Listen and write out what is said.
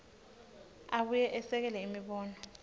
abuye esekele imibono